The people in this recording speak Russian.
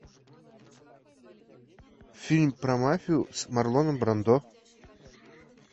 фильм про мафию с марлоном брандо